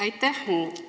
Aitäh!